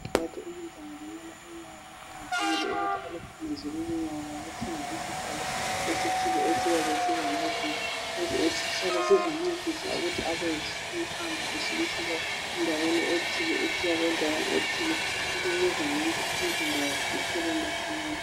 Bathi umuntu angalimala unyawo, kuqakathekile ukuthi aluphumuze lolonyawo. Ngokuthenga isihlalo esithile, esiyabe silamavili. Lesisihlalo sizamncedisa, ukuthi abe ehamba, esuka endaweni ethile, esiya endaweni ethile. Lokhu kuzakwenza umzimba wakhe uphole masinyane..